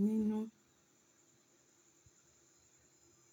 nínú.